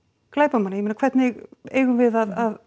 glæpamanna ég meina hvernig eigum við að